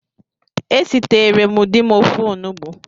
Esiteree m di m ofe Onugbu